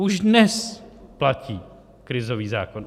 Už dnes platí krizový zákon.